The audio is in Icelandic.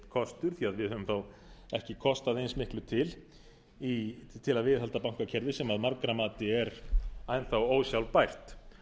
höfum þá ekki kostað eins miklu til til til að viðhalda bankakerfi sem að margra mati er enn þá ósjálfbært